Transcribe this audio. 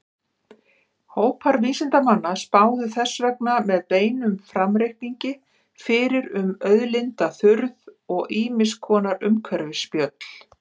Hópar vísindamanna spáðu þess vegna með beinum framreikningi fyrir um auðlindaþurrð og ýmiss konar umhverfisspjöll.